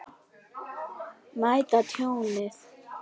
Meta tjónið.